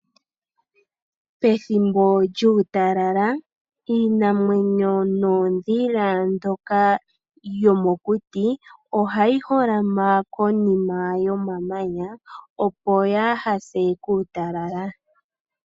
Pethimbo lyuutalala, iinamwenyo noondhila mbyoka yomokuti, oha yi holama konima yomamanya, opo ya ha se kuutalala.